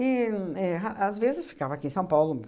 éh ra às vezes, ficava aqui em São Paulo.